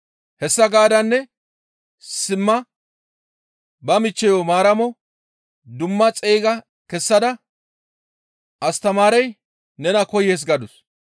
Hessa gaadanne simma ba michcheyo Maaramo dumma xeyga kessada, «Astamaarey nena koyees» gadus.